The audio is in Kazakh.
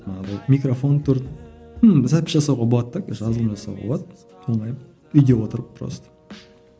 ыыы микрофон тұрды ну запись жасауға болады да короче жасауға болады оңай үйде отырып просто